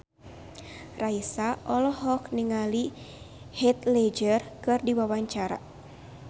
Raisa olohok ningali Heath Ledger keur diwawancara